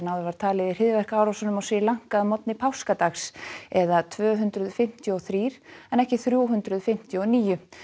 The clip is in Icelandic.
áður var talið í hryðjuverkaárásunum á Sri Lanka að morgni páskadags eða tvö hundruð fimmtíu og þrír en ekki þrjú hundruð fimmtíu og níu